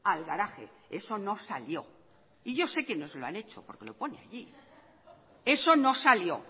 al garaje eso no salió y yo sé que nos lo han hecho porque lo pone allí eso no salió